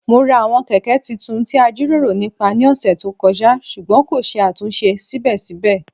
Mo ra àwọn Kẹ̀kẹ́ tuntun ti a jiroro nipa ní ọsẹ to kọja ṣugbọn ko ṣe atunṣe sibẹsibẹ.